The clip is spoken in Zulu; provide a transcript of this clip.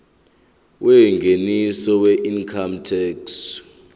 yengeniso weincome tax